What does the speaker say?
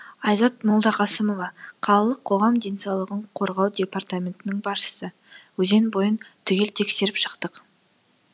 айзат молдақасымова қалалық қоғам денсаулығын қорғау департаментінің басшысы өзен бойын түгел тексеріп шықтық